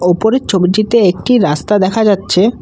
ওপরের ছবিটিতে একটি রাস্তা দেখা যাচ্ছে ।